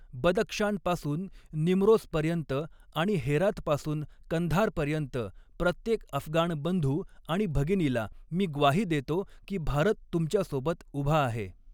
बदक्षान पासून निमरोजपर्यंत आणि हेरातपासून कंधारपर्यंत प्रत्येक अफगाण बंधू आणि भगिनीला मी ग्वाही देतो की भारत तुमच्यासोबत उभा आहे.